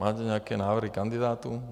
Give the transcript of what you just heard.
Máte nějaké návrhy kandidátů?